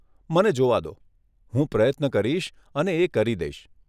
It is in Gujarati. મને જોવા દો, હું પ્રયત્ન કરીશ અને એ કરી દઈશ.